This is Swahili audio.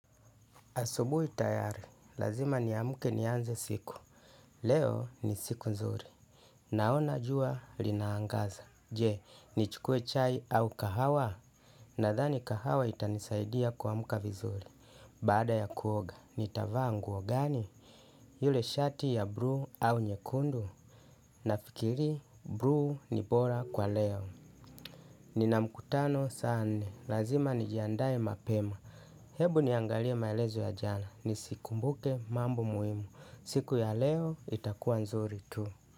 Asubu itayari, lazima ni amuke nianze siku. Leo ni siku nzuri. Naona jua linaangaza. Je, ni chukue chai au kahawa? Nadhani kahawa itanisaidia kwa muka vizuri. Bada ya kuoga, nitavaa nguo gani? Yule shati ya bruu au nyekundu? Nafikiri, bruu ni bora kwa leo. Nina mukatano saa nne lazima nijiandae mapema. Hebu niangalia maelezo ya jana ni siku mbuke mambo muhimu. Siku ya leo itakuwa nzuri tu.